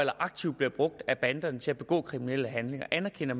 aktivt bliver brugt af banderne til at begå kriminelle handlinger anerkender